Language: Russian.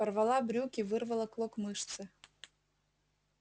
порвала брюки вырвала клок мышцы